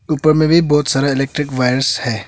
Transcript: ऊपर मे भी बहुत सारा इलेक्ट्रिक वायरस है।